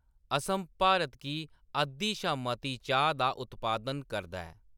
असम भारत गी अद्‌धी शा मती चाह्‌‌ दा उत्पादन करदा ऐ।